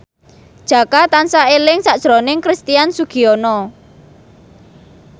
Jaka tansah eling sakjroning Christian Sugiono